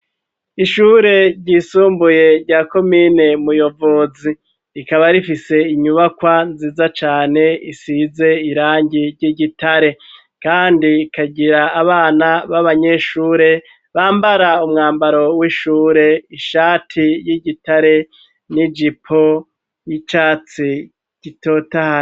ishure ryisumbuye rya komine Muyovozi, rikaba rifise inyubakwa nziza cane isize irangi ry'igitare, kandi ikagira abana b'abanyeshure bambara umwambaro w'ishure ishati y'igitare n'ijipo y'icatsi gitotahaye.